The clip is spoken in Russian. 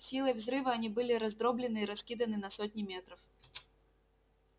силой взрыва они были раздроблены и раскиданы на сотни метров